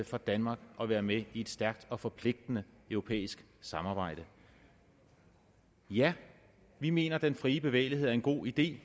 for danmark at være med i et stærkt og forpligtende europæisk samarbejde ja vi mener at den frie bevægelighed er en god idé